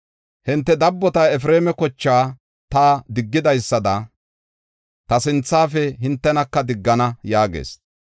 Hinte dabbota, Efreema kochaa ta diggidaysada ta sinthafe hintenaka diggana” yaagees.